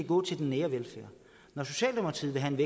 gå til den nære velfærd når socialdemokratiet vil have en